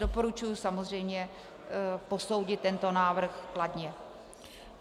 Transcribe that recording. Doporučuji samozřejmě posoudit tento návrh kladně.